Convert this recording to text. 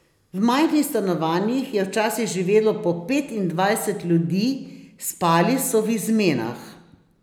V majhnih stanovanjih je včasih živelo po petindvajset ljudi, spali so v izmenah.